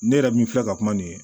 Ne yɛrɛ min filɛ ka kuma nin ye